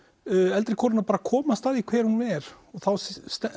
eldri konuna bara komast að því hver hún er þá